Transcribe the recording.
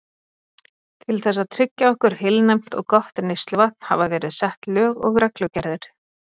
Til þess að tryggja okkur heilnæmt og gott neysluvatn hafa verið sett lög og reglugerðir.